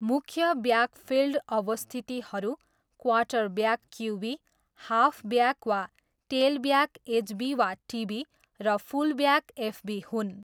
मुख्य ब्याकफिल्ड अवस्थितिहरू quarterback QB, halfback वा टेलब्याक एचबी वा टिबी, र फुलब्याक एफबी हुन्।